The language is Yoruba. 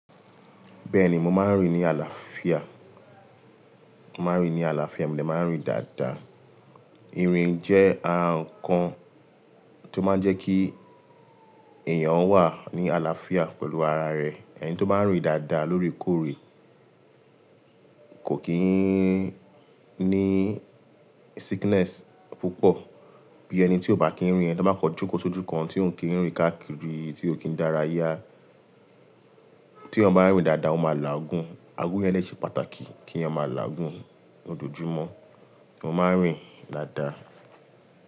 Bẹ́ẹ̀ni, mo máa ń rìn ní àlàáfíà, màá rìn ní àlàáfíà, mo dè máa ń rìn dáadáa. Írìn jẹ́ ara ǹkan tó máa jẹ́ kí èèyàn wà ní àlàáfíà pẹ̀lú ara rẹ̀. Ẹni tó bá ń rìn dáadáa lóòrèkóòrè kò kí ń ní sickness púpọ̀ bí ẹni tí ò bá kí ń rìn. Ẹni tó bá kọ jokó sójú kan, tí ò kìí rìn káàkiri, tí ò kí ń dára yá. Tí èyán bá ń rìn dáadáa, ọ máa làágún. Agun yẹn dè ṣe pàtàkì kí èyán máa làágún lojoojúmọ̀. Mo máa ń rìn dáadáa.